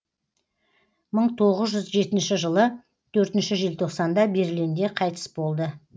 мың тоғыз жүз жетінші жылы төртінші желтоқсанда берлинде қайтыс болды